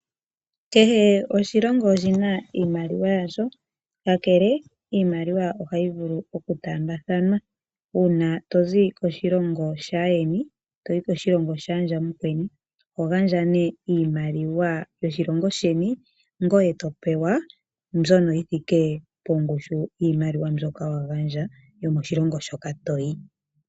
Kehe oshilongo oshi na iimaliwa yasho kakele iimaliwa ohayi vulu okutambathanwa uuna tozi koshilongo shayeni toyi koshilongo shandja mukweni oho gandja nee iimaliwa yoshilongo sheni ngoye to pewa mbyono yithike pongushu yoshimaliwa shoka wa gandja yo moshilongo shoka toyi.